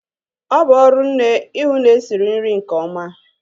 Ọ bụ ọrụ nne ihu na-esiri nri nke ọma